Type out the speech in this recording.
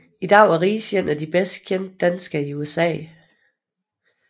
I dag er Riis en af de bedst kendte danskere i USA